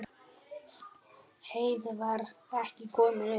Heiða var ekki komin upp.